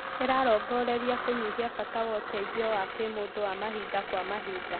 ĩrarongoreria kũnyihia bata wa ũteithio wa kĩmũndũ wa mahinda kwa mahinda